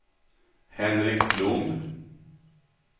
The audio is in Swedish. Henrik Blom